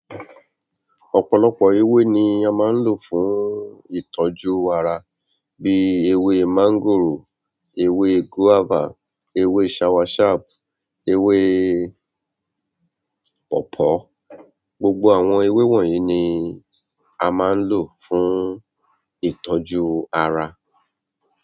Ọ̀pọ̀lọpọ̀ ewé ni a máa ń lò fún ìtọ́jú ara bí ewé máńgòrò, ewé gùávà, ewé sawasapu, ewé pọ̀pọ́. Gbogbo àwọn ewé wọ̀nyí ni a máa ń lò fún ìtọ́jú ara.